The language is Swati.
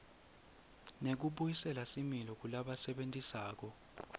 nekubuyisela similo kulabasebentisa